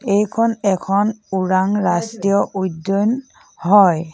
এইখন এখন ওৰাং ৰাষ্ট্ৰীয় উদ্যান হয়।